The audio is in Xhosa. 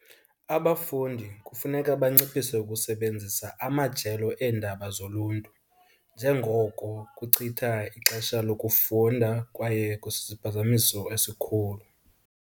Abafundi kufuneka banciphise ukusebenzisa amajelo eendaba zoluntu, njengoko kuchitha ixesha lokufunda kwaye kusisiphazamiso esikhulu.